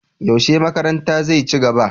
Yaushe makaranta zai ci gaba?